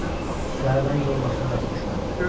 Səhərdən yol maşını rast düşmədi.